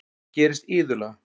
Það gerist iðulega.